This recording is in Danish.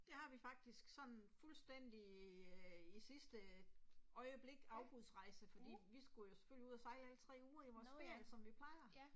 Det har vi faktisk sådan fuldstændig i æh i sidste øjeblik afbudsrejse, fordi vi skulle jo selvfølgelig ud og sejle alle 3 uger i vores ferie som vi plejer